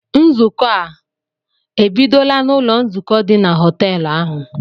Nzukọ a ebidola n'ụlọ nzukọ dị na họtel ahụ?